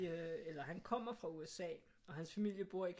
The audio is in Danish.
Eller han kommer fra USA og hans familie bor i